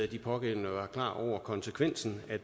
de pågældende var klar over konsekvensen af